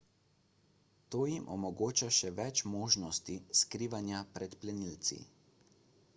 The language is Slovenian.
to jim omogoča še več možnosti skrivanja pred plenilci